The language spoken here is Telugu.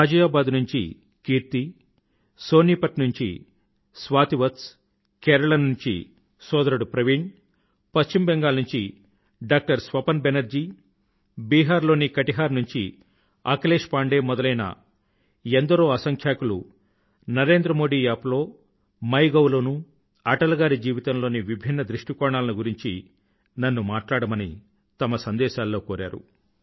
ఘాజియాబాద్ నుండి కీర్తి సోనీ పత్ నుండి స్వాతి వత్స్ కేరళ నుండి సోదరుడు ప్రవీణ్ పశ్చిమ బెంగాల్ నుండి డాక్టర్ స్వపన్ బెనర్జీ బిహార్ లోని కటిహార్ నుండి అఖిలేశ్ పాండే మొదలైన ఎందరో అసంఖ్యాకులు నరేంద్ర మోదీ యాప్ లో మై గౌ లోనూ అటల్ గారి జీవితంలోని విభిన్న దృష్టికోణాలను గురించి నన్ను మాట్లాడమని తమ సందేశాలలో కోరారు